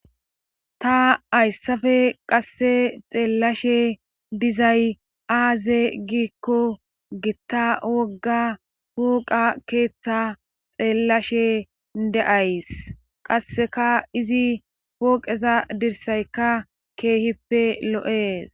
ta hayssafe qasse xeellashe dizay aaze giikko gitta wogga pooqa keeththa xeellashe de'ays qasseka izi pooqeza dirsaykka keehippe lo'ees